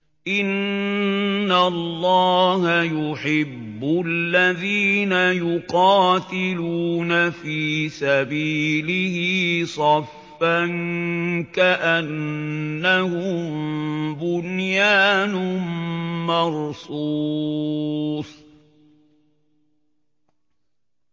إِنَّ اللَّهَ يُحِبُّ الَّذِينَ يُقَاتِلُونَ فِي سَبِيلِهِ صَفًّا كَأَنَّهُم بُنْيَانٌ مَّرْصُوصٌ